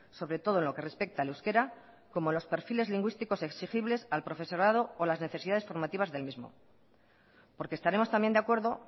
sobre todo en lo que respecta al euskera como los perfiles lingüísticos exigibles al profesorado o las necesidades formativas del mismo porque estaremos también de acuerdo